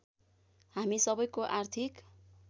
हामी सबैको आर्थिक